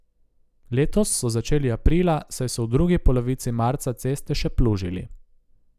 Letos so začeli aprila, saj so v drugi polovici marca ceste še plužili.